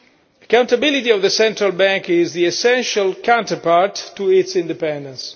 Accountability of the central bank is the essential counterpart to its independence.